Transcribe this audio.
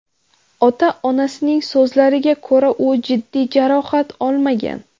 Ota-onasining so‘zlariga ko‘ra, u jiddiy jarohat olmagan.